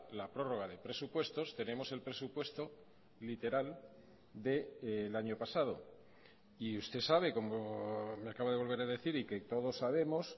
la prórroga de presupuestos tenemos el presupuesto literal del año pasado y usted sabe como me acaba de volver a decir y que todos sabemos